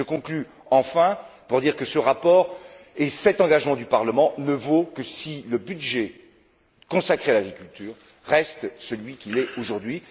Je conclus en affirmant que ce rapport et cet engagement du Parlement ne valent que si le budget consacré à l'agriculture reste celui qu'il est aujourd'hui.